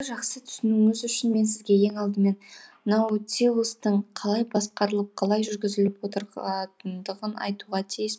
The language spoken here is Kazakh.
жақсы түсінуіңіз үшін мен сізге ең алдымен наутилустың қалай басқарылып қалай жүргізіліп отыратындығын айтуға тиіс